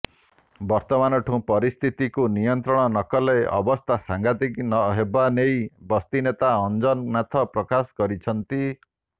ବର୍ତ୍ତମାନଠୁଁ ପରିସ୍ଥିତିକୁ ନିୟନ୍ତ୍ରଣ ନକଲେ ଅବସ୍ଥା ସାଂଘାତିକ ହେବାନେଇ ବସ୍ତିନେତା ଅଞ୍ଜନ ନାଥ ପ୍ରକାଶ କରିଛନ୍ତି